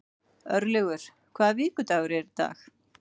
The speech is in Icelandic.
Örlygur, hvaða vikudagur er í dag?